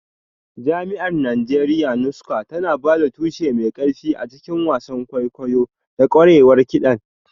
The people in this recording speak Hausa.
Jami'ar Najeriya Nsukka tana ba da tushe mai ƙarfi a cikin wasan kwaikwayo da ƙwarewar kiɗan.